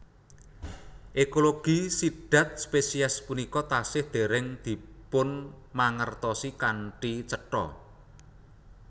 Ekologi sidhat spesies punika tasih dèrèng dipunmangertosi kanthi cetha